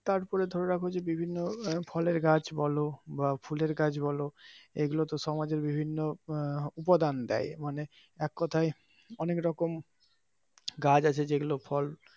তারপরে ধরে ফলের গাছ বলো বা ফুলের গাছ বলো এগুলো তো সমাজের বিভিন্ন উপাদান দেয় মানে এক কথায় অনেক রকম গাছ আছে যেগুলো ফল,